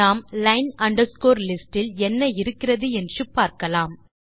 நாம் line underscore list இல் என்ன இருக்கிறது என்று பார்க்கலாம்